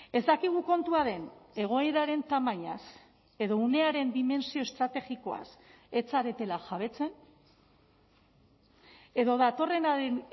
ez dakigu kontua den egoeraren tamainaz edo unearen dimentsio estrategikoaz ez zaretela jabetzen edo datorrenaren